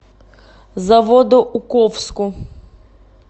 заводоуковску